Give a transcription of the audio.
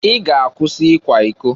I ga-akwụsị ikwa iko!